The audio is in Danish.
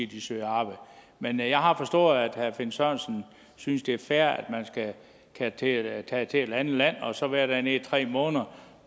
de søger arbejde men jeg har forstået at herre finn sørensen synes det er fair at man kan tage til et andet land og så være dernede i tre måneder